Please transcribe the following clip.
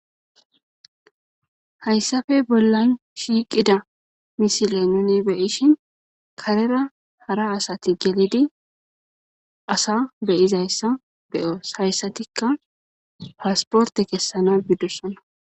Hayssappe bollan shiiqida misile nuunu be7ishin kareera hara asathi gelidi asa be7izayssa be7oos; hayssathikka paspporththe kessanaa bidosona.